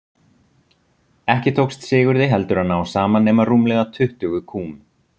Ekki tókst Sigurði heldur að ná saman nema rúmlega tuttugu kúm.